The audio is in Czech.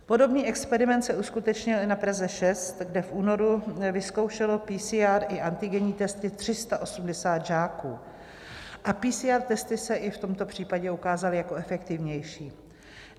Podobný experiment se uskutečnil i na Praze 6, kde v únoru vyzkoušelo PCR i antigenní testy 380 žáků a PCR testy se i v tomto případě ukázaly jako efektivnější.